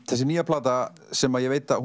þessi nýja plata sem ég veit að